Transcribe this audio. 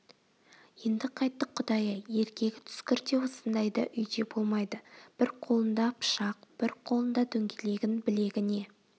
енді қайттік құдай-ай еркегі түскір де осындайда үйде болмайды бір қолында пышақ бір қолында дөңгелегін білегіне